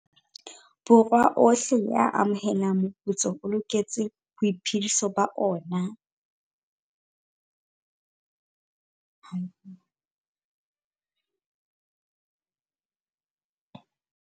Borwa ohle a amohelang moputso o loketseng boiphediso ba ona.